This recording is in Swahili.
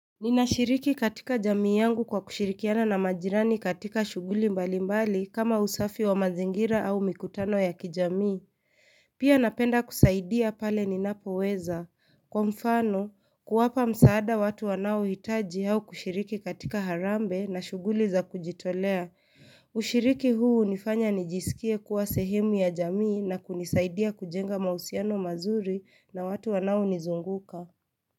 Ninashiriki katika jamii yangu kwa kushirikiana na majirani katika shuguli mbali mbali kama usafi wa mazingira au mikutano ya kijamii, pia napenda kusaidia pale ninapo weza, kwa mfano kuwapa msaada watu wanao hitaji au kushiriki katika harambe na shuguli za kujitolea, ushiriki huu nifanya nijisikie kuwa sehemu ya jamii na kunisaidia kujenga mausiano mazuri na watu wanao nizunguka.